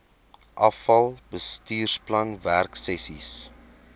afal bestuursplan werksessies